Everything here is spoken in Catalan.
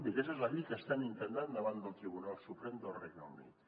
i aquest és la via que estan intentant davant del tribunal suprem del regne unit